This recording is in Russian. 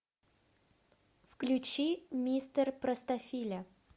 включи мистер простофиля